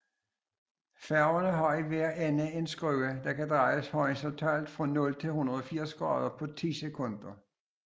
Færgerne har i hver ende en skrue der kan drejes horisontalt fra 0 til 180 grader på ti sekunder